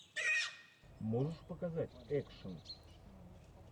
можешь показать экшен